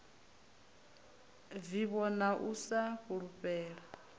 vivho na u sa fulufhela